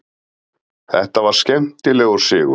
Þetta var skemmtilegur sigur.